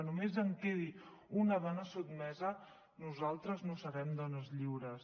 només que quedi una dona sotmesa nosaltres no serem dones lliures